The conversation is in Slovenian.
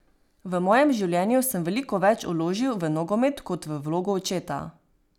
V mojem življenju sem veliko več vložil v nogomet kot v vlogo očeta.